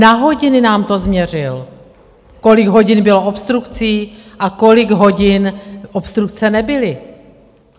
Na hodiny nám to změřil, kolik hodin bylo obstrukcí a kolik hodin obstrukce nebyly.